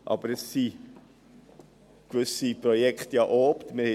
Aber es sind ja gewisse Projekte unterwegs.